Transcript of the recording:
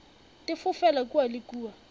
di fofela kua le kua